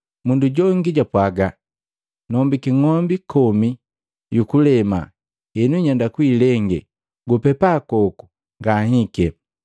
Mundu jongi japwaga, ‘Nombiki ng'ombi kome yu kuleme, henu nyenda kuilenge. Gupepa koku ngahike,’